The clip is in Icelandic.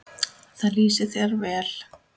Það lýsir þér vel.